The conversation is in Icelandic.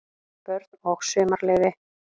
BÖRN OG SUMARLEYFI